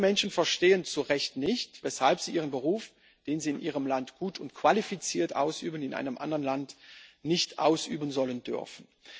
Denn viele Menschen verstehen zu Recht nicht, weshalb sie ihren Beruf, den sie in ihrem Land gut und qualifiziert ausüben, in einem anderen Land nicht ausüben sollen dürfen.